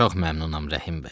Çox məmnunam, Rəhim bəy.